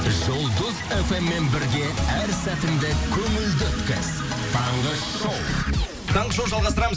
жұлдыз эф эм мен бірге әр сәтіңді көңілді өткіз таңғы шоу таңғы шоу жалғастырамыз